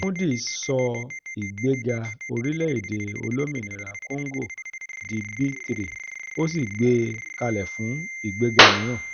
moody's sọ ìgbéga orílẹ̀-èdè olómìnira kóngò di b3 ó sì gbé e kalẹ̀ fún ìgbéga mìíràn